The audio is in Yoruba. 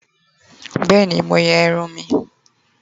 Beeni. Mo n ya irun mi